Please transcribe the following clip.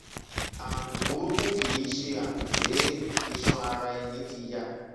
ààrùn burúkú kìí ṣe àmì pé iṣan ara ẹni ti ya